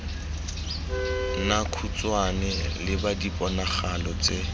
nna khutshwane leba diponagalo tse